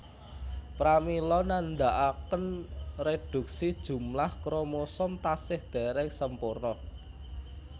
Pramila nandakaken reduksi jumlah kromosom tasih dereng sempurna